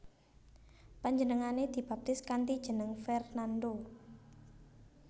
Panjenengané dibaptis kanthi jeneng Fernando